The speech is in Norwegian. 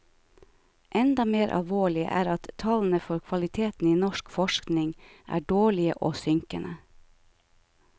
Enda mer alvorlig er at tallene for kvaliteten i norsk forskning er dårlige og synkende.